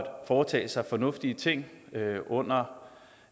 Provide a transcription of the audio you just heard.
foretage sig fornuftige ting under